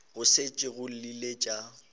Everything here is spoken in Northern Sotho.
go šetše go llile tša